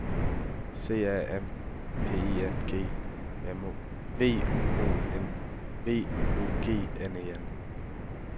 C A M P I N G V O G N E N